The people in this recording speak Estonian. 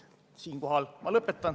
Siinkohal ma lõpetan.